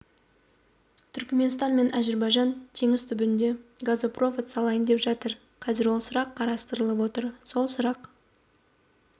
түркіменстан мен әзербайжан теңіз түбінде газопровод салайын деп жатыр қазір сол сұрақ қарастырылып отыр сол сұрақ